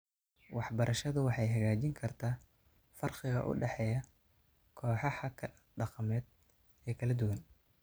Waxbarashadu waxay hagaajin kartaa farqiga u dhexeeya kooxaha dhaqameed ee kala duwan.